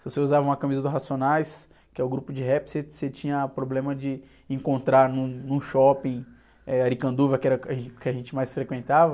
Se você usava uma camisa do Racionais, que é o grupo de rap, você, você tinha problema de encontrar num, no shopping, eh, Aricanduva, que era, o que a gente mais frequentava,